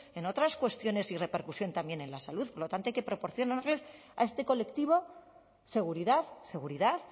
en otras cuestiones y repercusión también en la salud por lo tanto hay que proporcionarles a este colectivo seguridad seguridad